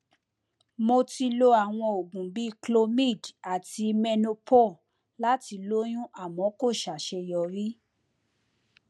mo ti lo àwọn oògùn bíi clomid àti menopur láti lóyún àmọ kò sàṣeyọrí